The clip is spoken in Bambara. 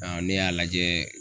ne y'a lajɛ